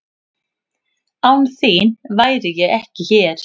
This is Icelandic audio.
Án þín væri ég ekki hér.